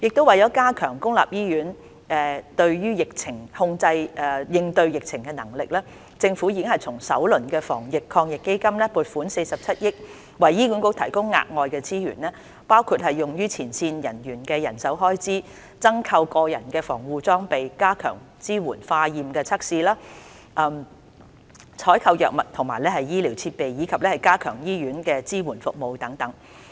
為加強公立醫院應對疫情的能力，政府已從首輪防疫抗疫基金撥款47億元，為醫管局提供額外資源，包括用於前線人員的人手開支、增購個人防護裝備、加強支援化驗測試、採購藥物和醫療設備，以及加強醫院支援服務等。